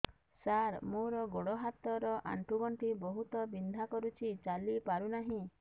ସାର ମୋର ଗୋଡ ହାତ ର ଆଣ୍ଠୁ ଗଣ୍ଠି ବହୁତ ବିନ୍ଧା କରୁଛି ଚାଲି ପାରୁନାହିଁ